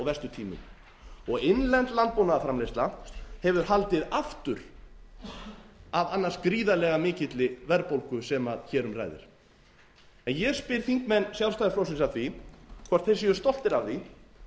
og verstu tímum innlend landbúnaðarframleiðsla hefur haldið aftur af annars gríðarlega mikilli verðbólgu sem hér um ræðir ég spyr þingmenn sjálfstæðisflokksins að því hvort þeir séu stoltir af því